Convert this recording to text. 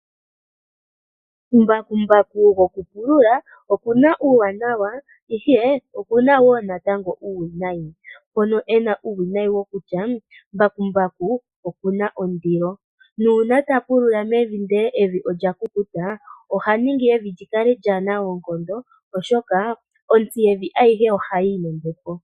Mbakumbaku gokupulula oku na uuwanawa, ihe oku na wo uuwinayi. Uuwinayi we owo mboka kutya oku na ondilo nuuna ta pulula mevi, ndele evi olya kukuta oha ningi evi li kale lyaana oonkondo, oshoka ontsi yevi ayihe ohayi yi nombepo.